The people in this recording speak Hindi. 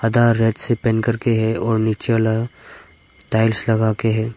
आधा रेड से पेंट करके है और नीचे वाला टाइल्स लगा के है।